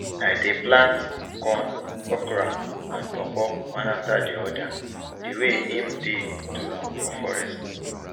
i dey plant corn okra and pawpaw one after the other di way em dey to am for forest